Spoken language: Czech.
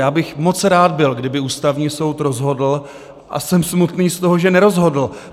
Já bych byl moc rád, kdyby Ústavní soud rozhodl, a jsem smutný z toho, že nerozhodl.